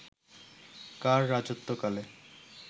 কার রাজত্বকালে